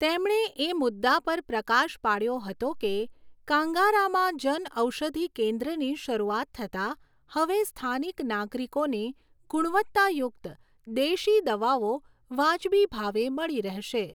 તેમણે એ મુદ્દા પર પ્રકાશ પાડ્યો હતો કે કાંગારામાં જન ઔષધિ કેન્દ્રની શરૂઆત થતાં હવે સ્થાનિક નાગરિકોને ગુણવત્તાયુક્ત દેશી દવાઓ વાજબી ભાવે મળી રહેશે.